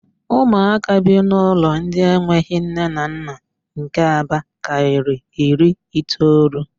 Ụmụaka bi n'ụlọ ndị enweghị nne na nna nke Aba karịrị iri itoolu.